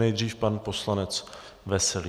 Nejdřív pan poslanec Veselý.